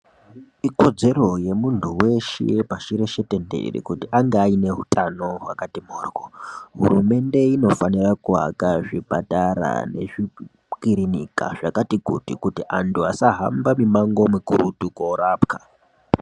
Ikodzero yemuntu weshe pashi reshe tendere kuti ange aine hutano hwakati mhoryo. Hurumende inofanira kuaka zvipatara nezvikirinika zvakati kuti kuti anhu asahamba mimango mikurutu korapwa.